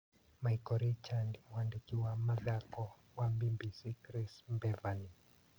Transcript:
Maiko Richandi mwandĩki wa mithako wa Mbimbisi Kris Mbevani.